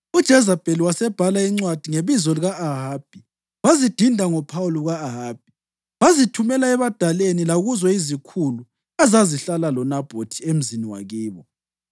UJezebheli wasebhala izincwadi ngebizo lika-Ahabi, wazidinda ngophawu luka-Ahabi, wazithumela ebadaleni lakuzo izikhulu ezazihlala loNabhothi emzini wakibo.